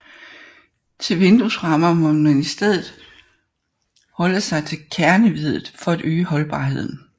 Til vinduesrammer må man i stedet holde sig til kerneveddet for at øge holdbarheden